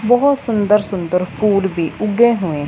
बहोत सुंदर सुंदर फूड भी उगे हुए।